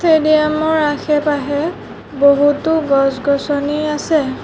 Stadium ৰ আশে-পাশে বহুতো গছ-গছনি আছে।